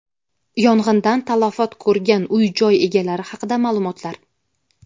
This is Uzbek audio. Yong‘indan talafot ko‘rgan uy-joy egalari haqida ma’lumotlar:.